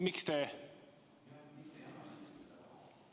Miks te ...